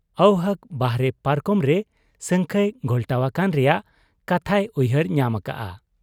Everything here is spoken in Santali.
ᱟᱹᱣᱦᱟᱹᱠ ᱵᱟᱦᱨᱮ ᱯᱟᱨᱠᱚᱢᱨᱮ ᱥᱟᱹᱝᱠᱷᱟᱹᱭ ᱜᱷᱚᱞᱴᱟᱣ ᱟᱠᱟᱱ ᱨᱮᱭᱟᱝ ᱠᱟᱛᱷᱟᱭ ᱩᱭᱦᱟᱹᱨ ᱧᱟᱢ ᱟᱠᱟᱜ ᱟ ᱾